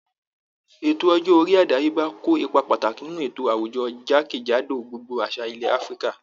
Ètò ọjọ́ orí àdáyébá ko ipa pàtàkì nínú ètò àwùjọ jákèjádò gbogbo àṣà ilẹ̀ Áfíríkà